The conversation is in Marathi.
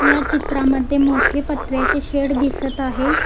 या चित्रामध्ये मोठे पत्र्याचे शेड दिसत आहे.